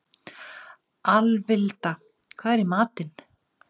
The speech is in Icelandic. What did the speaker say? Alvilda, hvað er í matinn?